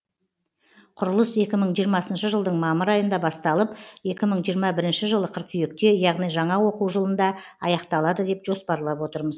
құрылыс екі мың жиырмасыншы жылдың мамыр айында басталып екі мың жиырма бірінші жылы қыркүйекте яғни жаңа оқу жылында аяқталады деп жоспарлап отырмыз